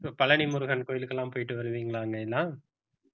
பழனி முருகன் கோயிலுக்கு எல்லாம் போயிட்டு வருவீங்களா main ஆ